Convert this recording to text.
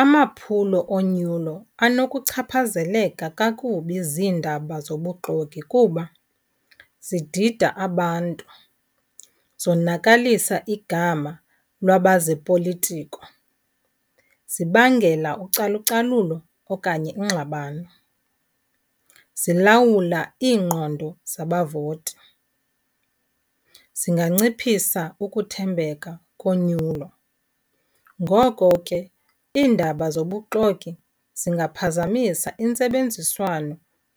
Amaphulo onyulo anokuchaphazeleka kakubi ziindaba zobuxoki kuba zidida abantu, zonakalisa igama lwabaze politiko, zibangela ucalucalulo okanye iingxabano, zilawula iingqondo zabavoti, zinganciphisa ukuthembeka konyulo. Ngoko ke iindaba zobuxoki zingaphazamisa intsebenziswano